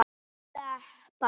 Allar ár renna til sjávar.